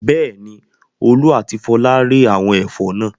Bẹ́ẹ̀ni, Olú àti Fola rẹ́ àwọn ẹ̀fọ́ náà.